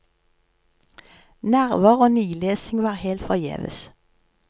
Nerver og nilesing var helt forgjeves.